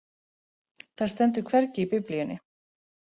Það stendur hvergi í Biblíunni.